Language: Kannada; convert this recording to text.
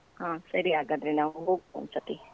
ಹಾ ಸರಿ ಹಾಗಾದ್ರೆ ನಾವು ಹೋಗುವ ಒಂದ್ ಸತಿ.